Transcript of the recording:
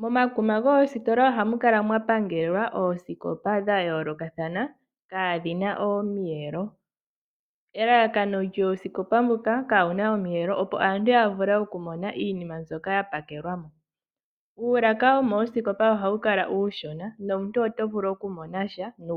Momamukuma goositola ohamu kala mwa pangelwa oosikopa dha yoolokathana kaadhina omiyelo, elalakano lyoosikopa ndhika kaadhina omiyelo opo aantu ya mone shoka sha pakelwa mo. Uulaka womoositola ohawu Kala uushona nomuntu oto vulu oku mona sha nuupu.